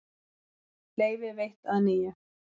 Leyfi veitt að nýju